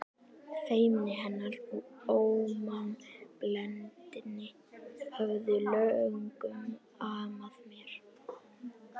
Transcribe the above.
Feimni hennar og ómannblendni höfðu löngum amað mér.